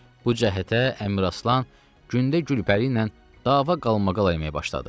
Bu cəhətə Əmiraslan gündə Gülpəri ilə dava qalmaqala əməyə başladı.